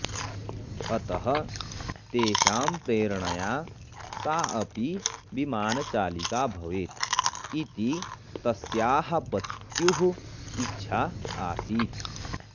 अतः तेषां प्रेरणया सा अपि विमानचालिका भवेत् इति तस्याः पत्युः इच्छा आसीत्